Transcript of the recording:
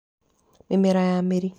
Mĩmera ya mĩri.